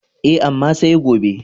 E, amma sai gobe.